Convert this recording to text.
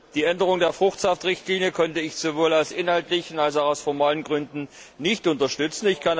Die Änderung der Fruchtsaftrichtlinie konnte ich sowohl aus inhaltlichen als auch formalen Gründen nicht unterstützen.